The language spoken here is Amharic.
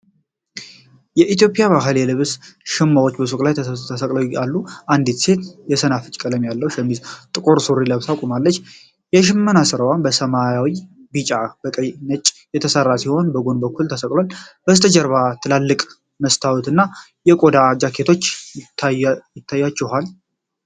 የኢትዮጵያ ባህላዊ የልብስ ሸማዎች በሱቅ ውስጥ ተሰቅለው አሉ። አንዲት ሴት የሰናፍጭ ቀለም ያለው ሸሚዝና ጥቁር ሱሪ ለብሳ ቆማለች። የሽመና ሥራዎቹ በሰማያዊ፣ በቢጫ፣ በቀይና በነጭ የተሠሩ ሲሆን፣ በጎን በኩል ተሰቅለዋል። ከበስተጀርባ ትላልቅ መስታወትና የቆዳ ጃኬቶች አይታችኋል?